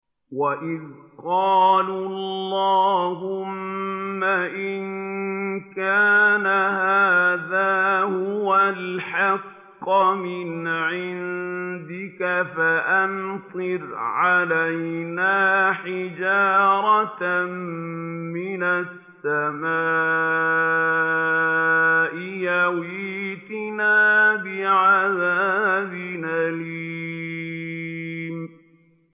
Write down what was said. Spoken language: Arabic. وَإِذْ قَالُوا اللَّهُمَّ إِن كَانَ هَٰذَا هُوَ الْحَقَّ مِنْ عِندِكَ فَأَمْطِرْ عَلَيْنَا حِجَارَةً مِّنَ السَّمَاءِ أَوِ ائْتِنَا بِعَذَابٍ أَلِيمٍ